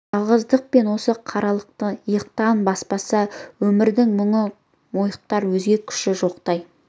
жалғыздық пен осы қаралылық иықтан баспаса өмірдің мұны мойытар өзге күші жоқтай